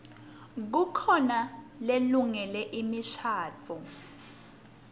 kukhona lelungele imishadvo